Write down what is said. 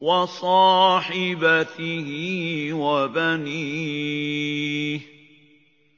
وَصَاحِبَتِهِ وَبَنِيهِ